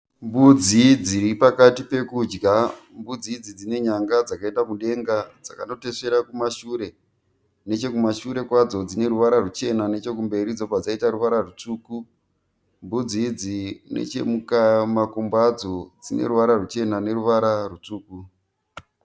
Mbudzi dziri pakati pekudya. Mbudzi idzi dzine nyanga dzakaenda mudenga dzakano tesvera kumashure. Nechekumashure kwadzo dzine ruvara ruchena nechekumberi dzobvq dzaita ruvara rutsvuku. Mbudzi idzi nechekumakumbo adzo dzine ruvara ruchena neruvara rutsvuku.